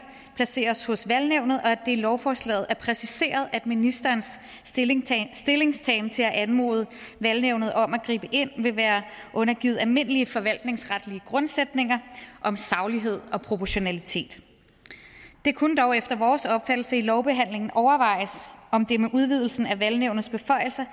placeres hos valgnævnet og at i lovforslaget er præciseret at ministerens stillingtagen stillingtagen til at anmode valgnævnet om at gribe ind vil være undergivet almindelige forvaltningsretlige grundsætninger om saglighed og proportionalitet det kunne dog efter vores opfattelse i lovbehandlingen overvejes om det med udvidelsen af valgnævnets beføjelser